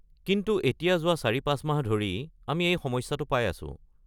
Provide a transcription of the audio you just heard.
কিন্তু এতিয়া যোৱা ৪-৫ মাহ ধৰি আমি এই সমস্যাটো পাই আছোঁ।